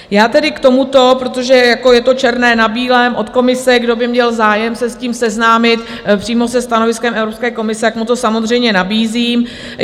Já tedy k tomuto, protože je to černé na bílém od Komise - kdo by měl zájem se s tím seznámit, přímo se stanoviskem Evropské komise, tak mu to samozřejmě nabízím.